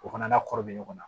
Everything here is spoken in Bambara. O fana n'a kɔrɔ bɛ ɲɔgɔn na